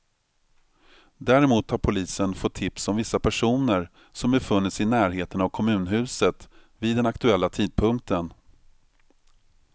Däremot har polisen fått tips om vissa personer som befunnit sig i närheten av kommunhuset vid den aktuella tidpunkten.